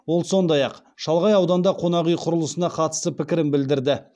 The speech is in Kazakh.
ол сондай ақ шалғай ауданда қонақүй құрылысына қатысты пікірін білдірді